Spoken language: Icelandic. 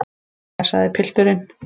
Jæja, sagði pilturinn.